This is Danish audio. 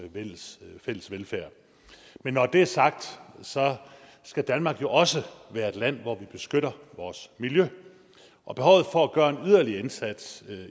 fælles fælles velfærd men når det er sagt skal danmark jo også være et land hvor vi beskytter vores miljø og behovet for at gøre en yderligere indsats